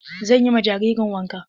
Zan yi ma jaririn wanka.